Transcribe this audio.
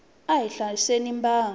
a hi hlayiseni mbango